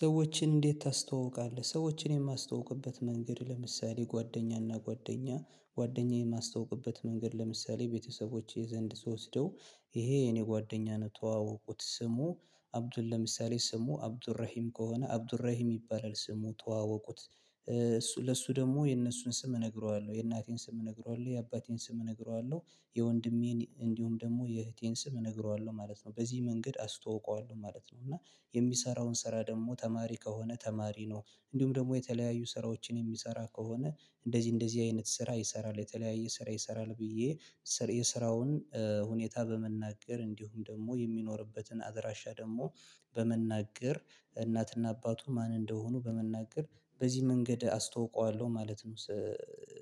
ሰዎችን እንዴት ታስተዋውቃለህ? ሰዎችን የማስተዋውቅበት መንገድ ለምሳሌ ጓደኛና ጓደኛ ጓደኛዬን የማስተውቅበት መንገድ ለምሳሌ ቤተሰቦች የዘንድ ስወስደው ይሄ የኔ ጓደኛነቷ ስሙ አብዱል ለምሳሌ ስሙ አብዱራሂም ከሆነ አብዱራሂም ይባላል ስሙ ተዋወቁት ለሱ ደግሞ የእነሱን ስም እነግረዋለሁ የእናቴን ስም እነግረዋለሁ የአባቴን ስም እነግረዋለሁ የወንድሜን እንዲሁም ደግሞ የእህቴን ስም እነግረዋለሁ ማለት ነው በዚህ መንገድ አስተዋውቀዋለሁ ማለት ነው እና የሚሰራውን ስራ ደግሞ ተማሪ ከሆነ ተማሪ ነው እንዲሁም ደግሞ የተለያዩ ስራዎችን የሚሰራ ከሆነ እንደዚህ እንደዚህ አይነት ስራ ይሰራል የተለያየ ስራ ይሰራል ብዬ የስራውን ሁኔታ በመናገር እንዲሁም ደግሞ የሚኖርበትን አድራሻ ደግሞ በመናገር እናትና አባቱ ማን እንደሆኑ በመናገር በዚህ መንገድ አስተዋውቀዋለሁ ማለት ነው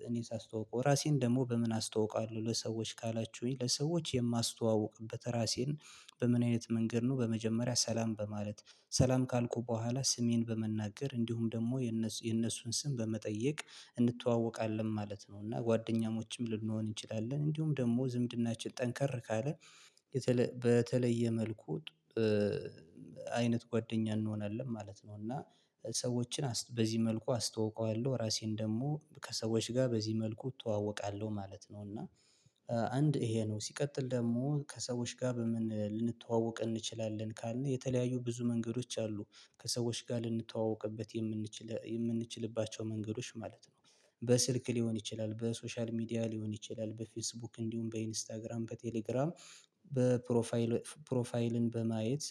እኔ ሳስተዋውቀው ራሴን ደግሞ በምን አስተዋውቀዋለሁ ለሰዎች ካላችሁኝ ለሰዎች የማስተዋውቅበት ራሴን በምን አይነት መንገድ ነው በመጀመሪያ ሰላም በማለት ሰላም ካልኩ በኋላ ስሜን በመናገር እንዲሁም ደግሞ የነሱን ስም በመጠየቅ እንተዋወቃለን ማለት ነው እና ጓደኛሞችም ልንሆን እንችላለን እንዲሁም ደግሞ ዝምድናችን ጠንከር ካለ በተለየ መልኩ አይነት ጓደኛ እንሆናለን ማለት ነው እና ሰዎችን በዚህ መልኩ አስተውቀዋለሁ ራሴን ደግሞ ከሰዎች ጋር በዚህ መልኩ እተዋወቃለሁ ማለት ነው እና አንድ ይሄ ነው ሲቀጥል ደግሞ ከሰዎች ጋር በምን ልንተዋወቅ እንችላለን ካልን የተለያዩ ብዙ መንገዶች አሉ ከሰዎች ጋር ልንተዋወቅበት የምንችል የምንችልባቸው መንገዶች ማለት ነው በስልክ ሊሆን ይችላል በሶሻል ሚዲያ ሊሆን ይችላል በፌስቡክ እንዲሁም በኢንስታግራም በቴሌግራም በፕሮፋይል ፕሮፋይልን በማየት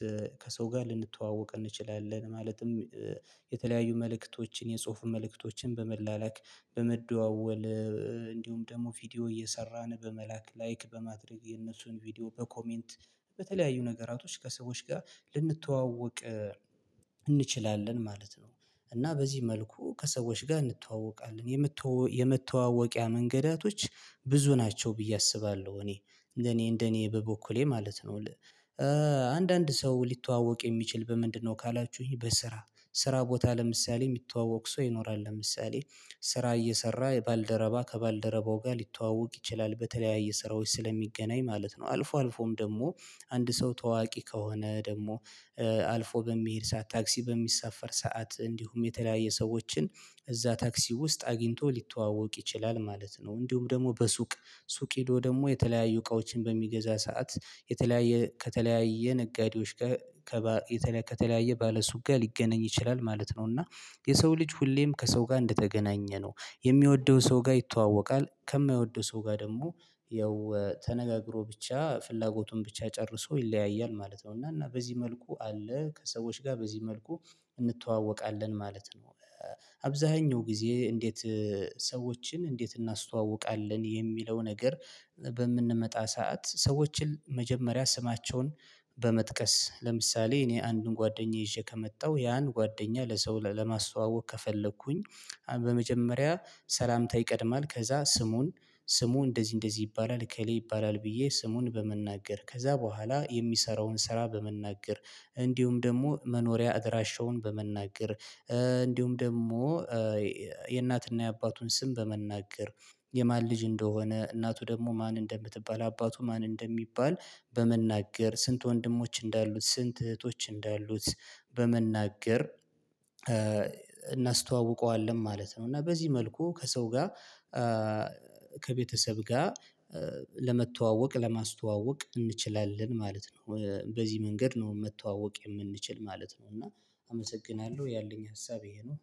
ከሰው ጋር ልንተዋወቅ እንችላለን ማለትም የተለያዩ መልእክቶችን የጽሁፍ መልእክቶችን በመላላክ በመደዋወል እንዲሁም ደግሞ ቪዲዮ እየሰራን በመላክ ላይክ በማድረግ የነሱን ቪዲዮ በኮሜንት በተለያዩ ነገራቶች ከሰዎች ጋር ልንተዋወቅ እንችላለን ማለት ነው እና በዚህ መልኩ ከሰዎች ጋር እንተዋወቃለን የመተዋወቂያ መንገዳቶች ብዙ ናቸው ብዬ አስባለሁ እኔ እንደኔ እንደኔ በበኩሌ ማለት ነው አንዳንድ ሰው ሊተዋወቅ የሚችል በምንድነው ካላችሁኝ በስራ ስራ ቦታ ለምሳሌ የሚተዋወቅ ሰው ይኖራል ለምሳሌ ስራ እየሰራ የባልደረባ ከባልደረባው ጋር ሊተዋወቅ ይችላል በተለያየ ስራዎች ስለሚገናኝ ማለት ነው አልፎ አልፎም ደግሞ አንድ ሰው ታዋቂ ከሆነ ደግሞ አልፎ በሚሄድ ሰዓት ታክሲ በሚሳፈር ሰዓት እንዲሁም የተለያየ ሰዎችን እዛ ታክሲ ውስጥ አግኝቶ ሊተዋወቅ ይችላል ማለት ነው እንዲሁም ደግሞ በሱቅ ሱቅ ሄዶ ደግሞ የተለያዩ እቃዎችን በሚገዛ ሰዓት የተለያየ ከተለያየ ነጋዴዎች ከተለያዩ ባለሱቅ ጋር ሊገናኝ ይችላል ማለት ነው እና የሰው ልጅ ሁሌም ከሰው ጋር እንደተገናኘ ነው የሚወደው ሰው ጋር ይተዋወቃል ከማይወደው ሰው ጋር ደግሞ ያው ተነጋግሮ ብቻ ፍላጎቱን ብቻ ጨርሶ ይለያያል ማለት ነው እና እና በዚህ መልኩ አለ ከሰዎች ጋር በዚህ መልኩ እንተዋወቃለን ማለት ነው አብዛኛው ጊዜ እንዴት ሰዎችን እንዴት እናስተዋውቃለን የሚለው ነገር በምንመጣ ሰዓት ሰዎችን መጀመሪያ ስማቸውን በመጥቀስ ለምሳሌ እኔ አንዱን ጓደኛ ይዤ ከመጣሁ ያን ጓደኛ ለሰው ለማስተዋወቅ ከፈለኩኝ በመጀመሪያ ሰላምታ ይቀድማል ከዛ ስሙን ስሙ እንደዚህ እንደዚህ ይባላል እከሌ ይባላል ብዬ ስሙን በመናገር ከዛ በኋላ የሚሰራውን ስራ በመናገር እንዲሁም ደግሞ መኖሪያ አድራሻውን በመናገር እንዲሁም ደግሞ የእናትና የአባቱን ስም በመናገር የማን ልጅ እንደሆነ እናቱ ደግሞ ማን እንደምትባል አባቱ ማን እንደሚባል በመናገር ስንት ወንድሞች እንዳሉት ስንት እህቶች እንዳሉት በመናገር እናስተዋውቀዋለን ማለት ነው እና በዚህ መልኩ ከሰው ጋር ከቤተሰብ ጋር ለመተዋወቅ ለማስተዋወቅ እንችላለን ማለት ነው በዚህ መንገድ ነው መተዋወቅ የምንችል ማለት ነው እና አመሰግናለሁ ያለኝ ሀሳብ ይሄ ነው